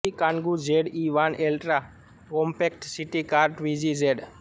E Kangoo Z E van ultra compact city car Twizy Z